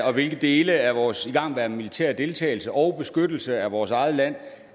og hvilke dele af vores igangværende militære deltagelse og beskyttelse af vores eget land